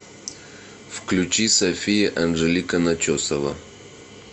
включи софия анжелика начесова